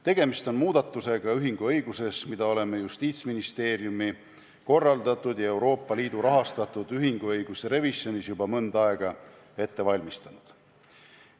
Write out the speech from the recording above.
Tegemist on muudatusega ühinguõiguses, mida oleme Justiitsministeeriumis korraldatud ja Euroopa Liidu rahastatud ühinguõiguse revisjonis juba mõnda aega ette valmistanud.